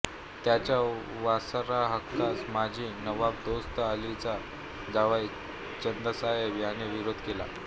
त्याच्या वारसाहक्कास माजी नवाब दोस्त अलीचा जावई चंदासाहेब याने विरोध केला